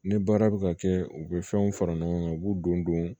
Ni baara bɛ ka kɛ u bɛ fɛnw fara ɲɔgɔn kan u b'u don don